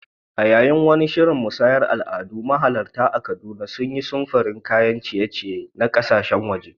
A yayin wani shirin musayar al'adu, mahalarta a Kaduna sun yi samfurin kayan ciye-ciye na kasashen waje.